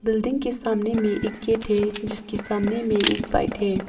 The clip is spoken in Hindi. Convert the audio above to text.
बिल्डिंग के सामने में एक गेट है जिसके सामने में एक बाइक है।